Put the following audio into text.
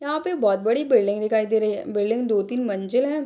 यहाँ पे बहुत बड़ी बिल्डिंग दिखाई दे रही है। बिल्डिंग दो-तीन मंजिल हैं।